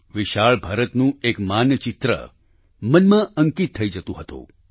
વિશાળ ભારતનું એક માનચિત્ર મનમાં અંકિત થઈ જતું હતું